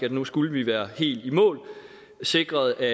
at nu skulle vi være helt i mål sikret at